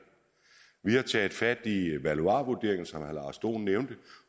vi har taget fat i valuarvurderingen som herre lars dohn nævnte